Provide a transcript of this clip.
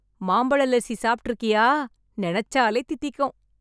மாம்பழ லஸ்ஸி சாப்பிட்டு இருக்கியா? நினைச்சாலே தித்திக்கும்.